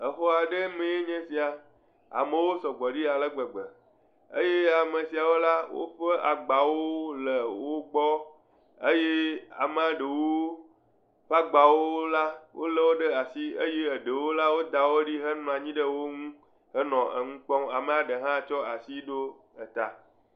Xɔa ɖee mee nye sia, amewo sɔ gbɔ ɖi ale gbegbe, eye amesiawo la, woƒe agbawo le wo gbɔ eye amea ɖewo ƒe agbaawo la ,wolé wo ɖe asi eye eɖewo la, woda wo ɖi henɔ anyi ɖe wo ŋu henɔ enu kpɔm, amea ɖe hã tso asi ɖo eta.